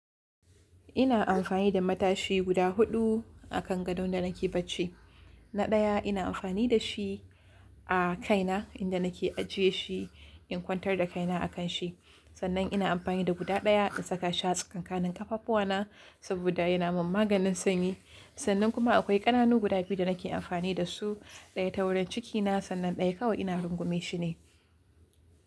Ina amfani da matashi guda huɗu akan gadon da nake bacci. Na ɗaya ina amfani dashi a kaina inda nake ajiye shi in kwantar da kaina akanshi. Sannan ina amfani da guda ɗaya in saka tsakankanin ƙafafuwana saboda yana min maganin sanyi. Sannan kuma akwai ƙananu guda biyu da nake amfani dasu ɗaya taurin cikina sannan ɗaya kawai ina rungume shi ne.